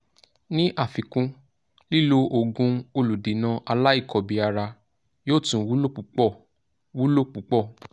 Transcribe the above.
ní àfikún lílo òògùn olùdènà aláìkọbìára yóò tún wúlò púpọ̀ wúlò púpọ̀